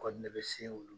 Kɔni ne bɛ se olu